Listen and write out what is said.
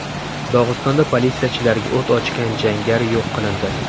Dog‘istonda politsiyachilarga o‘t ochgan jangari yo‘q qilindi.